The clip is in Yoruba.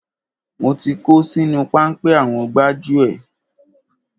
Mo ti kó sínú páńpẹ́ àwọn gbájúẹ̀.